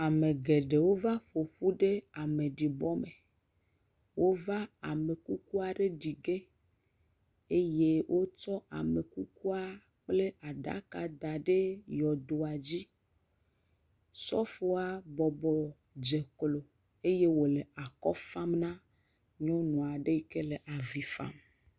Ame geɖewo va ƒoƒu ɖe ameɖibɔme wova amekuku aɖe ɖi ge eye wotsɔ ame kuku kple aɖaka daɖe yɔdodzi sɔfoa bɔbɔ dze eye wòle afɔ fam na nyɔnu aɖe yike le avifam